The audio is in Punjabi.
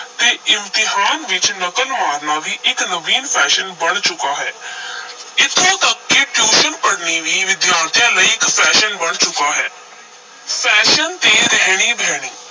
ਤੇ ਇਮਤਿਹਾਨ ਵਿੱਚ ਨਕਲ ਮਾਰਨਾ ਵੀ ਇਕ ਨਵੀਨ fashion ਬਣ ਚੁੱਕਾ ਹੈ ਇਥੋਂ ਤੱਕ ਕਿ tuition ਪੜ੍ਹਨੀ ਵੀ ਵਿਦਿਆਰਥੀਆਂ ਲਈ ਇਕ fashion ਬਣ ਚੁੱਕਾ ਹੈ fashion ਤੇ ਰਹਿਣੀ ਬਹਿਣੀ,